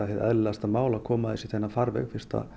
eðlilegasta mál að koma þessu í þennan farveg